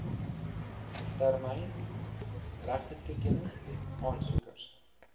termyn regtetoekenning aansoekers